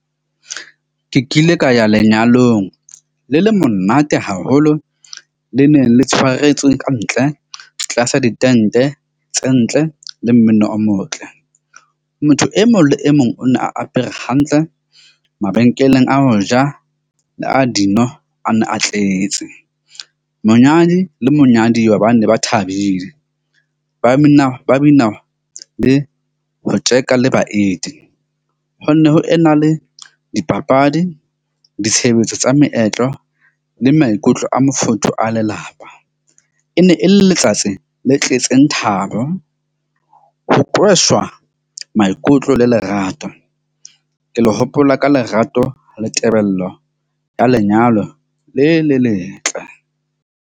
Ke kile ka ya lenyalong le le monate haholo le neng le tshwaretswe kantle tlasa ditente tse ntle le mmino o motle. Motho e mong le e mong o na apere hantle mabenkeleng a ho ja, a dino a ne a tletse. Monyadi le monyaduwa, ba ne ba thabile, ba bina le ho tjeka le baeti ho nne ho ena le dipapadi, ditshebetso tsa meetlo le maikutlo a mofuthu a lelapa. E ne e le letsatsi le tletseng thabo, ho qoswa maikutlo le lerato ke lo hopola ka lerato le tebello ya lenyalo le le letle.